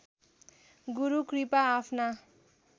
गुरु कृपा आफ्ना